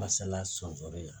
Masala sɔnsori yan